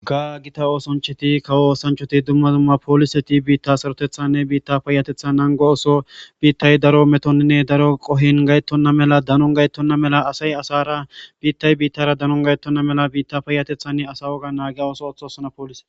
Ga gita oosoncheti kawo oosanchoti dumma dumma pooliseti biitta sarotethanne biitta payatethan nango oso biittay daro metoninne daro qohin gayettonna mela danon gayettonna mela asay asara biittay biittara danon gayettonna mela biitta payatethanne asa woga naagiya ooso othosana poolise